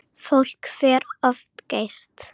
Fólk fer of geyst.